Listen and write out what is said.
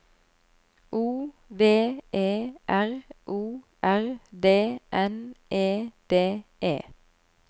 O V E R O R D N E D E